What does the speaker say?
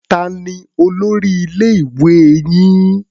Ta ni olórí ilé-ìwé yìí?